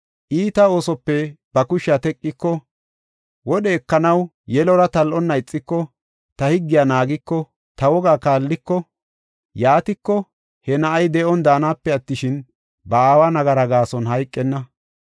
Iita oosope ba kushiya teqiko wodhe ekanaw yelora tal7onna ixiko, ta higgiya naagiko, ta wogaa kaalliko, yaatiko, he na7ay de7on daanape attishin, ba aawa nagaraa gaason hayqenna.